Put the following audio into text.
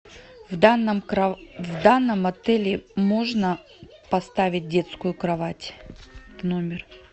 в данном в данном отеле можно поставить детскую кровать в номер